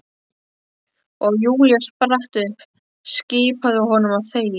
Og Júlía spratt upp, skipaði honum að þegja.